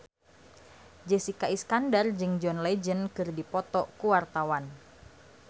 Jessica Iskandar jeung John Legend keur dipoto ku wartawan